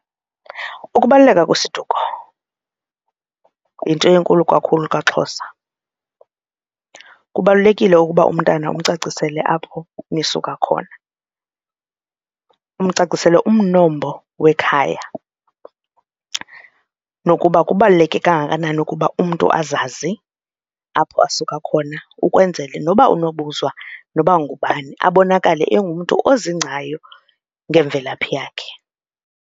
Ukubaluleka kwesiduko yinto enkulu kakhulu kwaXhosa. Kubalulekile ukuba umntana amcacisele apho nisuka khona, umcacisele umnombo wekhaya nokuba kubaluleke kangakanani ukuba umntu azazi apho asuka khona ukwenzele noba unobuzwa noba ngubani abonakale engumntu ozidingcayo ngemvelaphi yakhe.